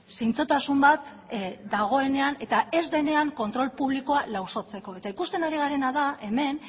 zintzotasun bat dagoenean eta ez denean kontrol publikoa lausotzeko eta ikusten ari garena da hemen